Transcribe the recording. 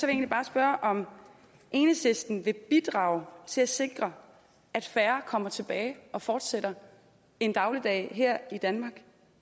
jeg bare spørge om enhedslisten vil bidrage til at sikre at færre kommer tilbage og fortsætter en dagligdag her i danmark